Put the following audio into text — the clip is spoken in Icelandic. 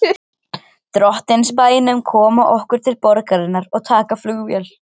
Drottins bænum koma okkur til borgarinnar og taka flugvél.